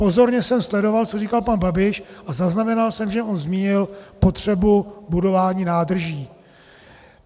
Pozorně jsem sledoval, co říkal pan Babiš, a zaznamenal jsem, že on zmínil potřebu budování nádrží.